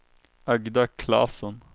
Agda Claesson